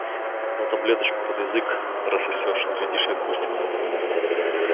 но таблеточку под язык рассосёшь глядишь и отпустит